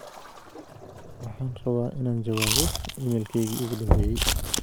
waxaan rabaa in aan jawaabo iimaylkeygii ugu dhambeyey